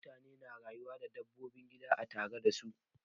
Mutane na rayuwa da dabbobin gida a tare da su.